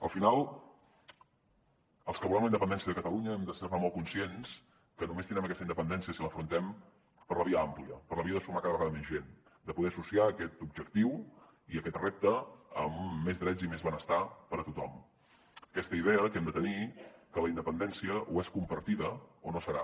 al final els que volem la independència de catalunya hem de ser molt conscients que només tindrem aquesta independència si l’afrontem per la via àmplia per la via de sumar cada vegada més gent de poder associar aquest objectiu i aquest repte amb més drets i més benestar per a tothom aquesta idea que hem de tenir que la independència o és compartida o no serà